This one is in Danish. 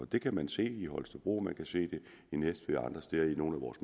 det kan man se i holstebro og man kan se det i næstved og andre steder i nogle af vores